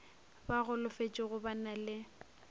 ba golofetšego ba na le